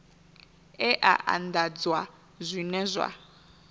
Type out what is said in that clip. e a anḓadzwa zwine zwa